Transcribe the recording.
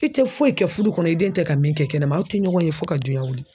I tɛ foyi kɛ fudu kɔnɔ i den tɛ ka min kɛ kɛnɛma aw tɛ ɲɔgɔn ye fo ka duɲan wuli.